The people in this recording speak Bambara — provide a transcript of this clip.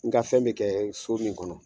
N ka fɛn be kɛ furi in kɔnɔ